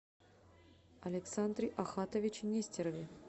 александре ахатовиче нестерове